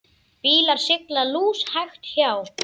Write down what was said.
Bílar sigla lúshægt hjá.